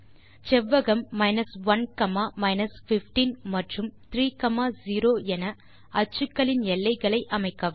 செவ்வகம் 1 15 மற்றும் 3 0 என அச்சுக்களின் எல்லைகளை அமைக்கவும்